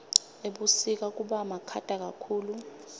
ebusika kubamakhata kakhulu